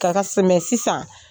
kaka sɛmɛ sisan